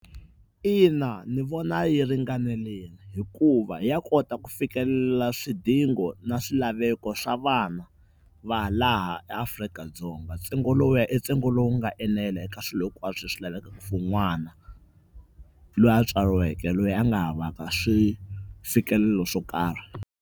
Ina ndzi vona yi ringanelini hikuva ya kota ku fikelela swidingo na swilaveko swa vana va laha eAfrika-Dzonga. Ntsengo lowuya ibntsengo lowu nga enela eka swilo hinkwaswo leswi lavekaka for n'wana loyi a tswariweke loyi a nga havaka swi fikelelo swo karhi.